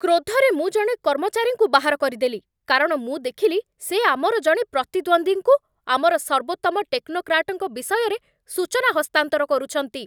କ୍ରୋଧରେ ମୁଁ ଜଣେ କର୍ମଚାରୀଙ୍କୁ ବାହାର କରିଦେଲି, କାରଣ ମୁଁ ଦେଖିଲି ସେ ଆମର ଜଣେ ପ୍ରତିଦ୍ୱନ୍ଦ୍ୱୀଙ୍କୁ ଆମର ସର୍ବୋତ୍ତମ ଟେକ୍ନୋକ୍ରାଟଙ୍କ ବିଷୟରେ ସୂଚନା ହସ୍ତାନ୍ତର କରୁଛନ୍ତି!